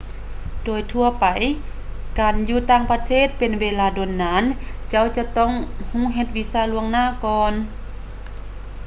ໂດຍທົ່ວໄປ ການຢູ່ຕ່າງປະເທດເປັນເວລາດົນນານເຈົ້າຈະຕ້ອງເຮັດວີຊ່າກ່ອນລວງໜ້າ